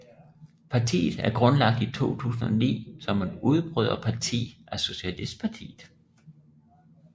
Partiet er grundlagt i 2009 som et udbryderparti fra Socialistpartiet